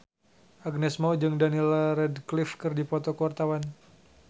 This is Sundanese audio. Agnes Mo jeung Daniel Radcliffe keur dipoto ku wartawan